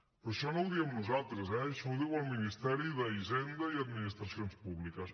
però això no ho diem nosaltres eh això ho diu el ministeri d’hisenda i administracions públiques